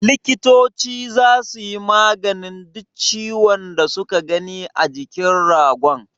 Likitoci zasu yi maganin duk ciwon da su ka gani a jikin ragon.